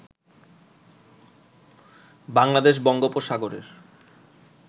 বাংলাদেশ বঙ্গোপসাগরের